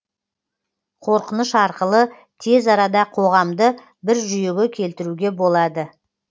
қорқыныш арқылы тез арада қоғамды бір жүйеге келтіруге болады